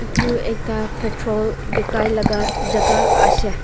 edu ekta petrol bikai laka jaka ase.